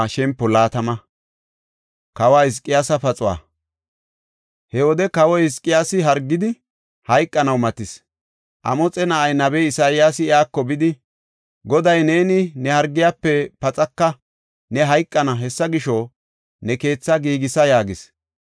He wode kawoy Hizqiyaasi hargidi, hayqanaw matis. Amoxe na7ay nabey Isayaasi iyako bidi, “Goday, ‘Neeni ne hargiyafe paxaka; ne hayqana; hessa gisho, ne keetha giigisa’ ” yaagis.